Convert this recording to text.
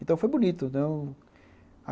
Então, foi bonito.